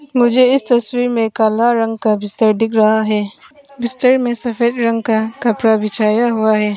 मुझे इस तस्वीर में काला रंग का बिस्तर दिख रहा है बिस्तर में सफेद रंग का कपड़ा बिछाया हुआ है।